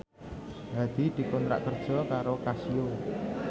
Hadi dikontrak kerja karo Casio